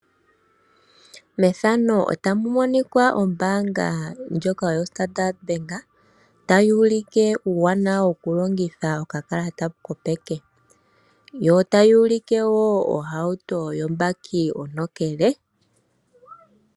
Methano otamu monika ombaanga ya standard bank. Tayuulike uuwanawa woku longitha okakalata kopeke yo ota yuulike woo ohauto yo baki ontokele.